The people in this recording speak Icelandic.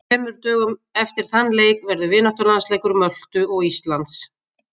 Þremur dögum eftir þann leik verður vináttulandsleikur Möltu og Íslands.